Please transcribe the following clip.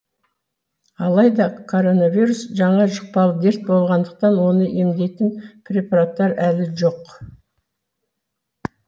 алайда коронавирус жаңа жұқпалы дерт болғандықтан оны емдейтін препараттар әлі жоқ